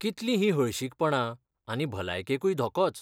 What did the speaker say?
कितलीं ही हळशीकपणां आनी भलायकेकूय धोकोच!